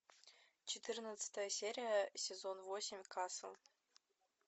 четырнадцатая серия сезон восемь касл